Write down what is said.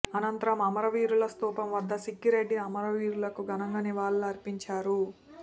అనంతరం అమరవీరుల స్థూపం వద్ద సిక్కిరెడ్డి అమరవీరులకు ఘనంగా నివాళులర్పించారు